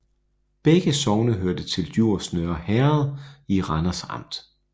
Begge sogne hørte til Djurs Nørre Herred i Randers Amt